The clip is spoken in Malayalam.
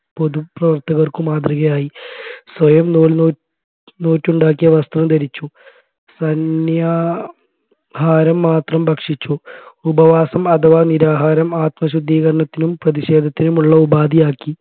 പൊതുപ്രവർത്തകർക്കു മാതൃകയായി സ്വയം നൂൽ നൂറ്റുണ്ടാക്കിയ വസ്ത്രം ധരിച്ചു സന്യാഹാരം മാത്രം ഭക്ഷിച്ചു ഉപവാസം അഥവാ നിരാഹാരം ആത്മശുദ്ധീകരണത്തിനും പ്രതിഷേധത്തിനുമുള്ള ഉപാധിയാക്കി